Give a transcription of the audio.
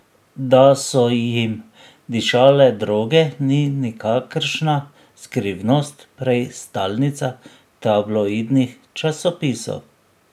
Da so jim dišale droge, ni nikakršna skrivnost, prej stalnica tabloidnih časopisov.